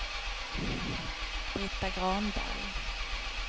Brita Granberg